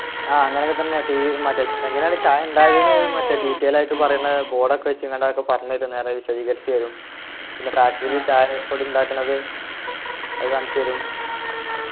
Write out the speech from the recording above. ആഹ് അങ്ങനൊക്കെത്തന്നെ tea മറ്റേ എങ്ങനെയാണു ചായ ഉണ്ടാക്കുന്നത് മറ്റേ detail ആയിട്ട് പറയുന്ന board ഒക്കെ വച്ച് അങാണ്ട് അതൊക്കെ പറഞ്ഞു തരും നേരെ വിശദീകരിച്ചു തരും പിന്നെ factory ൽ ചായപ്പൊടി ഉണ്ടാക്കുണത് അത് കാണിച്ചു തരും